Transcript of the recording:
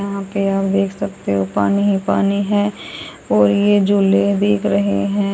यहां पे आप देख सकते हो पानी ही पानी है और ये झूले दिख रहे हैं।